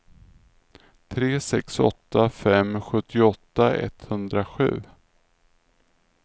tre sex åtta fem sjuttioåtta etthundrasju